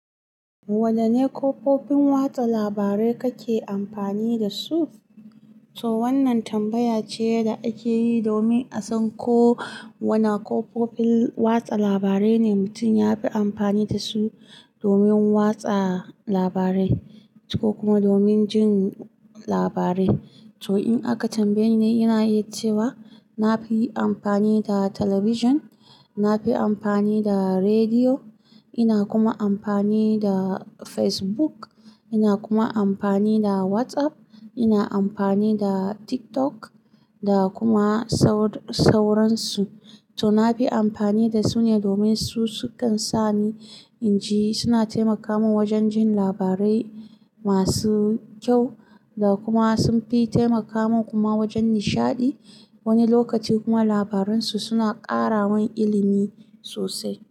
Wadanne kafofin watsa labarai kake amfani da su? To wannan tambaya ce da ake yi domin a san ko wana kafofin watsa labarai ne mutum ya fi amfani da su domin watsa labarai ko kuma domin jin labarai. To in aka tambaye ni, ina yi cewa na fi amfani da talabijin, na fi amfani da rediyo, ina kuma amfani da Facebook, ina kuma amfani da WhatsApp, ina amfani da TikTok da kuma sauran su. To na fi amfani da su ne domin su sukan sa ni in ji, suna taimaka min wajen jin labarai masu kyau da kuma sun fi taimaka min kuma wajen nishaɗi. Wani lokaci kuma labarun su suna ƙara min ilimi sosai.